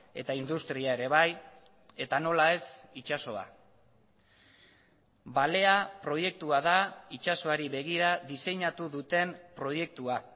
eta industria ere bai eta nola ez itsasoa balea proiektua da itsasoari begira diseinatu duten proiektua